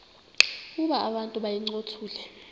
ukuba abantu bayincothule